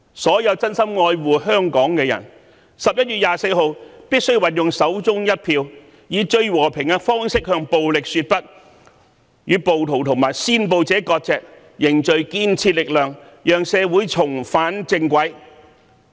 所有真心愛護香港的人，均必須在11月24日運用手中一票，以最和平的方式向暴力說不，與暴徒和煽暴者割席，凝聚建設力量，讓社會重返正軌。